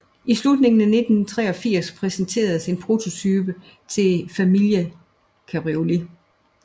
I slutningen af 1983 præsenteredes en prototype til en Familia Cabriolet